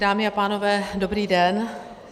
Dámy a pánové, dobrý den.